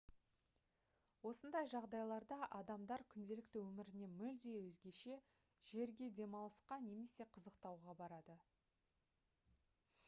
осындай жағдайларда адамдар күнделікті өмірінен мүлде өзгеше жерге демалысқа және қызықтауға барады